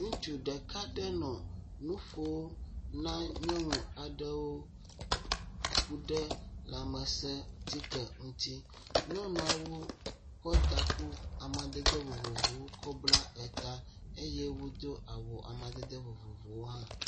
Ŋutsu ɖeka aɖe nɔ nu ƒom na nyɔnu aɖewo ku ɖe lãmesẽ ŋuti, nyɔnuawo kɔ taku amadede vovovowo kɔ bla eta eye wotsdo awu amadede vovovowo hã.